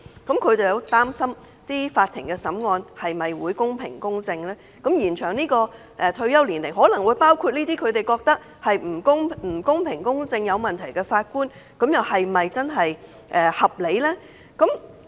因此，他們擔心法庭審案是否公平公正，而延展法官退休年齡的安排也可能包括他們認為不公平公正、有問題的法官，令他們質疑是否合理。